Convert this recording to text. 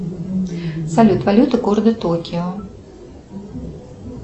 салют валюта города токио